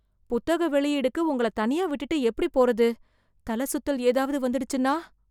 புத்தக வெளியீடுக்கு உங்கள தனியா விட்டுட்டு எப்டி போறது... தலைசுத்தல் ஏதாவது வந்துடுச்சுன்னா..